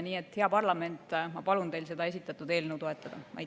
Nii et, hea parlament, palun teil esitatud eelnõu toetada!